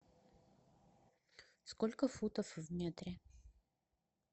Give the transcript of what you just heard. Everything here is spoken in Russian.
сколько футов в метре